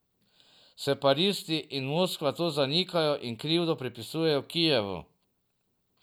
Separatisti in Moskva to zanikajo in krivdo pripisujejo Kijevu.